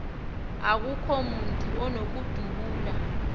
akukho mntu unokudubula